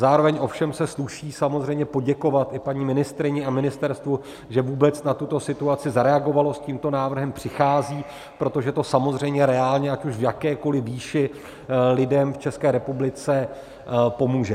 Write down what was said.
Zároveň ovšem se sluší samozřejmě poděkovat i paní ministryni a ministerstvu, že vůbec na tuto situaci zareagovaly, s tímto návrhem přicházejí, protože to samozřejmě reálně, ať už v jakékoli výši, lidem v České republice pomůže.